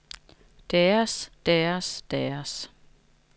deres deres deres